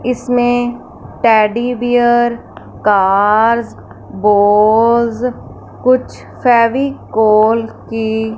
इसमें teddy bear cars बोज कुछ फेविकोल की--